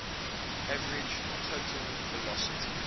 average total velocity